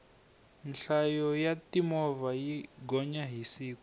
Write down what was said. nhlayo ya timovha yi gonya hi siku